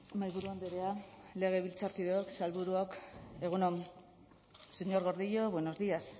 mahaiburu andrea legebiltzarkideok sailburuok egun on señor gordillo buenos días